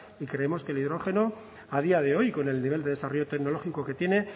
y creemos que el hidrógeno a día de hoy y con el nivel de desarrollo tecnológico que tiene